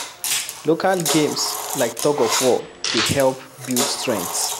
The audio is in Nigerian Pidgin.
Local games like thug of war dey help build strength